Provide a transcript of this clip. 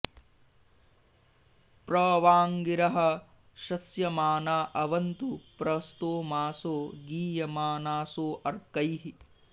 प्र वां॒ गिरः॑ श॒स्यमा॑ना अवन्तु॒ प्र स्तोमा॑सो गी॒यमा॑नासो अ॒र्कैः